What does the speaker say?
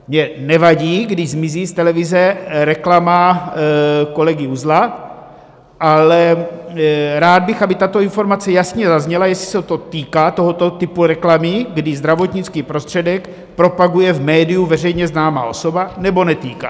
Mně nevadí, když zmizí z televize reklama kolegy Uzla, ale rád bych, aby tato informace jasně zazněla, jestli se to týká tohoto typu reklamy, kdy zdravotnický prostředek propaguje v médiu veřejně známá osoba, nebo netýká.